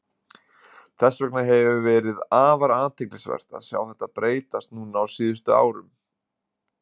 Þess vegna hefur verið afar athyglisvert að sjá þetta breytast núna á síðustu árum.